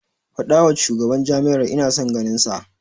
Faɗawa shugaban jam'iyyar ina son ganinsa.